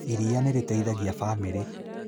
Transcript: Iria nĩ rĩteithagia bamĩrĩ